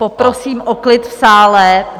Poprosím o klid v sále.